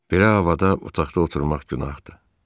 Belə havada otaqda oturmaq günahdır.